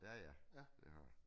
Ja ja det har jeg